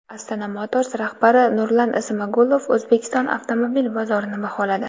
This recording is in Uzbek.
Astana Motors rahbari Nurlan Smagulov O‘zbekiston avtomobil bozorini baholadi.